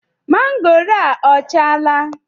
Mangoro a o achala?